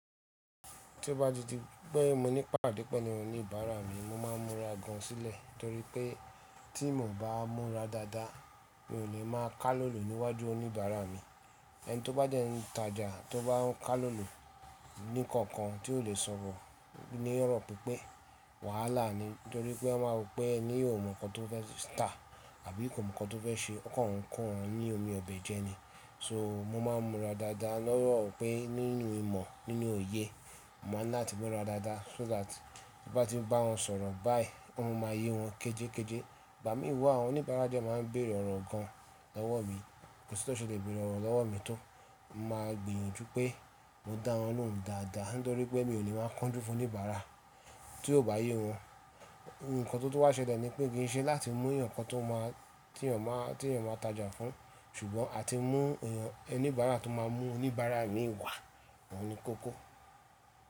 Tí o bá di tí pé mo ní pàdé pẹ̀lú oníbàárà mi, mo máa ń múra gan sílẹ̀ torí pé tí mi ò bá múra dáadáa, mi ò ní máa ká lòlò níwájú oníbàárà mi. Ẹni tó bá dẹ̀ n ìtajà tó bá ń ká lòlò ní kankan tí ò lè sọ̀rọ̀ ni ọ̀rọ̀ pípẹ́ wàhálà ni torí pé ẹ máa rò pé ẹni ò mọ̀ nǹkan tó fẹ́ tà àbí kò mọ̀ nǹkan tó fẹ́ ṣe, ọkàn n kó ọ̀un ní omi ọbẹ̀ jẹ ni. So mo máa ń múra dáadáa lọ́rọ̀ pé nínú ìmọ̀, nínú òye, mo máa ń ní láti múra dáadáa so that tí mo bá tí ń bá wọn sọ̀rọ̀ báyìí, ó ma máa yé wọn kéjékéjé. Ìgbà míì wà, àwọn oníbàárà dẹ̀ máa ń bèèrè ọ̀rọ̀ kan lọ́wọ́ mi, kò sí tí wọ́n ṣe lè bèèrè ọ̀rọ̀ lọ́wọ́ mi tó. Mo máa gbìyànjú pé mo dá wọn lóhùn dáadáa nítorí pé mi ò lè máa kánjú fún oníbàárà tí ó bá yé wọn. Ìǹkan tó wá ṣẹlẹ̀ ni pé kì í ṣe láti mú ẹ̀yàn kan tó máa tí ènìyàn máa tajà fún, ṣùgbọ́n àti mú ẹni oníbàárà tó máa mú oníbàárà mi wá òun ni kókó.